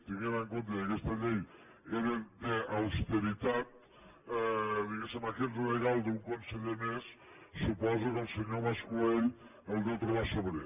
tenint en compte que aquesta llei era d’austeritat diguéssem aquest regal d’un conseller més suposo que el senyor mas colell el deu trobar sobrer